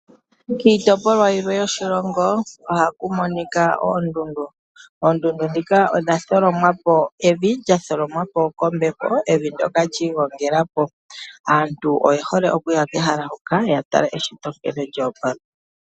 Kiitopolwa yilwe yoshilongo ohaku monika oondundu. Oondundu dhika odha tholomwa po kevi, lya tholomwa po kombepo. Evi ndoka lya igongela po. Aantu oye hole okuya kehala huka ya tale eshito nkene lya opala.